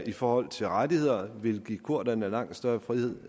i forhold til rettigheder vil give kurderne langt større frihed